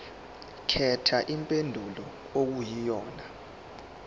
khetha impendulo okuyiyona